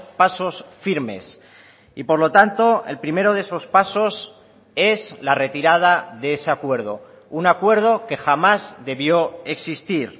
pasos firmes y por lo tanto el primero de esos pasos es la retirada de ese acuerdo un acuerdo que jamás debió existir